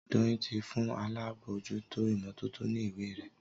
Doyin tí fún àlabòjuto imototo ní ìwé rẹ.